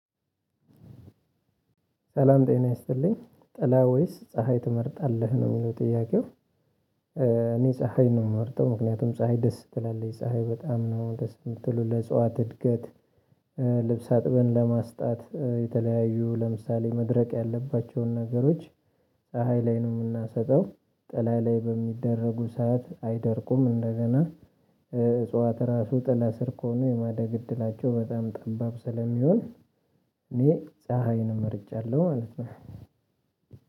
ሰላም ጤና ይስጥልኝ ጥላ ወይስ ፀሀይ ትመርጣለህ ነው የሚለው ጥያቄው? እኔ ፀሀይ ነው የምመርጠው ምክንያቱም ፀሀይ ደስ ትላለች ፀሀይ በጣም ነው ደስ የምትለው ለእጽዋት እድገት። ልብስ አጥበን ለማስጣት የተለያዩ ለምሳሌ መድረቅ ያለባቸውን ነገሮች ፀሀይ ላይ ነው የምናሰጣው። ጥላ ላይ በሚደረጉ ሰዓት አይደርቁም እንደገና። እጽዋት ራሱ ጥላ ስር ከሆኑ የማደግ እድላቸው በጣም ጠባብ ስለሚሆን። እኔ ፀሀይን መርጫለሁ ማለት ነው።